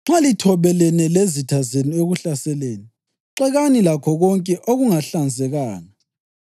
“Nxa lithobelene lezitha zenu ekuhlaseleni, xekani lakho konke okungahlanzekanga.